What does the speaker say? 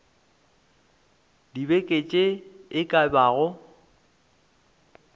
dibeke tše e ka bago